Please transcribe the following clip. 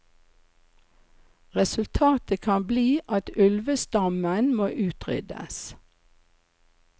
Resultatet kan bli at ulvestammen må utryddes.